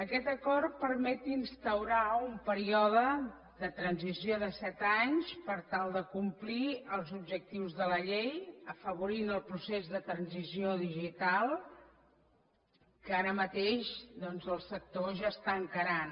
aquest acord permet instaurar un període de transició de set anys per tal de complir els objectius de la llei i afavorir el procés de transició digital que ara mateix doncs el sector ja està encarant